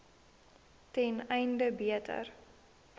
ten einde beter